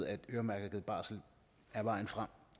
at øremærket barsel er vejen frem